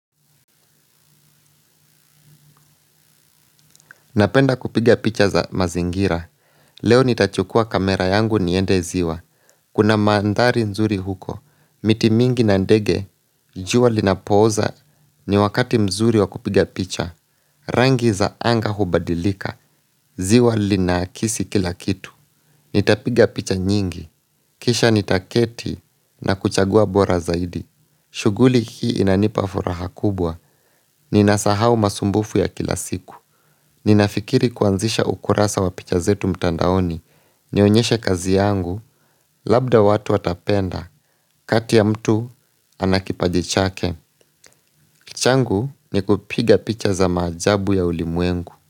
Napenda kupiga picha za mazingira, leo nitachukua kamera yangu niende ziwa, kuna mandari nzuri huko, miti mingi na ndege, juwa linapoza ni wakati mzuri wa kupiga picha, rangi za anga hubadilika, ziwa linakisi kila kitu. Nitapiga picha nyingi. Kisha nitaketi na kuchagua bora zaidi. Shuguli hii inanipa furaha kubwa. Ninasahau masumbufu ya kila siku. Ninafikiri kwanzisha ukurasa wa picha zetu mtandaoni. Nionyeshe kazi yangu. Labda watu watapenda. Katia mtu anakipajichake. Changu ni kupiga picha za majabu ya ulimwengu.